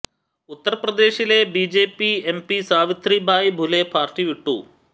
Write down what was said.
ഉത്തർപ്രദേശിലെ B J P M P Savitri Bai Phule party വിട്ടു